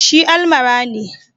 Shi almara ne